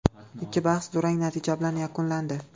Ikki bahs durang natija bilan yakunlandi.